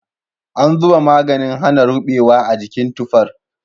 An zuba maganin hana rubewa a jikin tufar.